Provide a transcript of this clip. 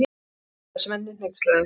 sagði Svenni hneykslaður.